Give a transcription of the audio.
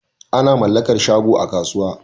Ana mallakar shago a kasuwa